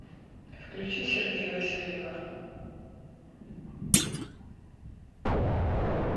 включи сергея васильева